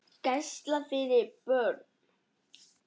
Gæsla fyrir börn.